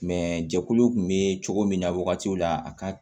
jɛkuluw kun bɛ cogo min na wagatiw la a ka